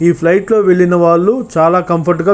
ఈ ఫ్లయిట్ లో వెళ్లిన వాళ్ళు చాల కంఫోర్ట్ గా --